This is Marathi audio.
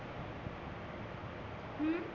हम्म